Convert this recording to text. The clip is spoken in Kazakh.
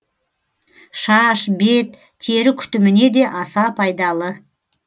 шаш бет тері күтіміне де аса пайдалы